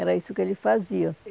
Era isso que ele fazia.